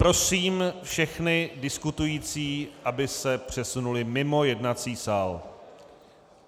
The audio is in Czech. Prosím všechny diskutující, aby se přesunuli mimo jednací sál.